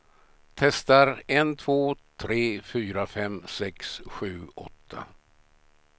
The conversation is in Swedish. Testar en två tre fyra fem sex sju åtta.